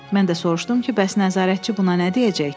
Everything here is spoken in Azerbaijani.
Mən də soruşdum ki, bəs nəzarətçi buna nə deyəcək?